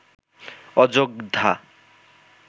Ayodhya